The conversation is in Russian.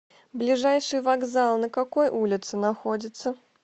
ближайший вокзал на какой улице находится